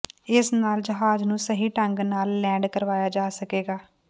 ਇਸ ਨਾਲ ਜਹਾਜ਼ ਨੂੰ ਸਹੀ ਢੰਗ ਨਾਲ ਲੈਂਡ ਕਰਵਾਇਆ ਜਾ ਸਕੇਗਾ